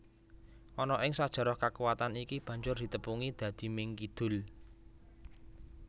Ana ing sajarah kakuwatan iki banjur ditepungi dadi Ming Kidul